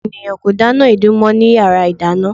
Ọ̀pọ̀ ènìyàn kò dáná èédú mọ́ ní yara ìdáná.